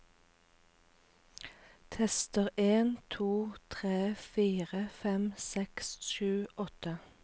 Tester en to tre fire fem seks sju åtte